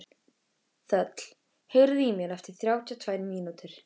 Þöll, heyrðu í mér eftir þrjátíu og tvær mínútur.